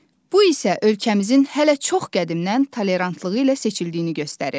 Bu isə ölkəmizin hələ çox qədimdən tolerantlığı ilə seçildiyini göstərir.